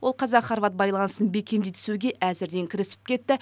ол қазақ хорват байланысын бекемдей түсуге әзірден кірісіп кетті